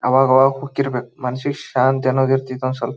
ಅವಾಗವಾಗ ಹೋಗ್ತಿರ್ಬೇಕು ಮನಸಿಗೆ ಶಾಂತಿ ಅನ್ನೋದು ಇರತೈತಿ ಸ್ವಲ್ಪ.